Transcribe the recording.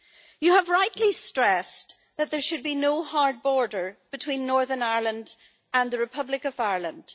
You have rightly stressed that there should be no hard border between Northern Ireland and the Republic of Ireland.